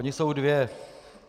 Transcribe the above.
Ony jsou dvě.